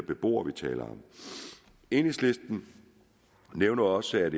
beboere vi taler om enhedslisten nævner også at